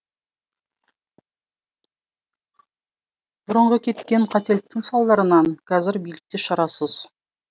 бұрынғы кеткен қателіктің салдарынан қазір билік те шарасыз